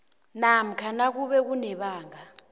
namkha nakube kunebanga